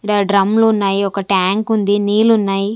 ఈడ డ్రమ్లు ఉన్నాయి ఒక టాంక్ ఉంది నీళ్లు ఉన్నాయి.